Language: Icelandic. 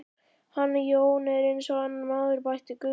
Hann Jón er eins og annar maður, bætti Guðfinna við.